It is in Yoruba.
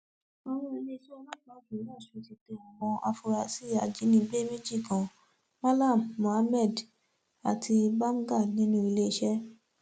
owó iléeṣẹ ọlọpàá ìpínlẹ ọsùn ti tẹ àwọn afurasí ajínigbé méjì kan malam muhammad àti babga nílùú iléeṣẹ